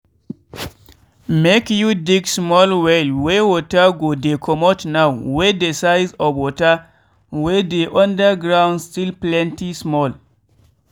make you dig small well wey water go dey comot now wey de size of water wey dey under ground still plenty small.